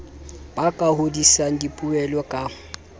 ba ka hodisang dipoelo ka